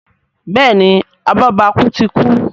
Béèni abobaku tí kú.